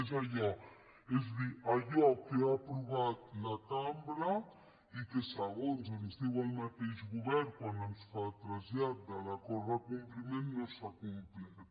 és a dir allò que ha aprovat la cambra i que segons ens diu el mateix govern quan es fa trasllat de l’acord de compliment no s’ha complert